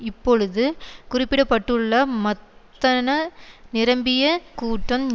இப்பொழுது குறிப்பிட பட்டுள்ள மத்தன நிரம்பிய கூட்டம்